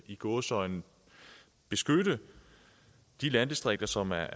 i gåseøjne beskytte de landdistrikter som er